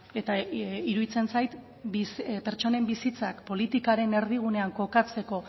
eta iruditzen zait pertsonen bizitzak politikaren erdigunean kokatzeko